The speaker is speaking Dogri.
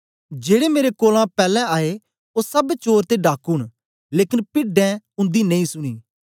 जेड़े मेरे कोलां पैलैं आए ओ सब चोर ते डाकू न लेकन पिड्डें उंदी नेई सुनी